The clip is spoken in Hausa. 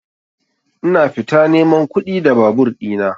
Ina fita neman kuɗi da babur ɗina.